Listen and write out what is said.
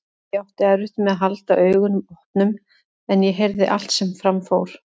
Ég átti erfitt með að halda augunum opnum en ég heyrði allt sem fram fór.